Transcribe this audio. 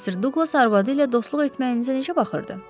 Mister Douglas arvadı ilə dostluq etməyinizə necə baxırdı?